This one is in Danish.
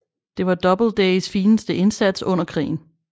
Det var Doubledays fineste indsats under krigen